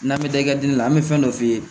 N'an bɛ taa i ka digi la an bɛ fɛn dɔ f'i ye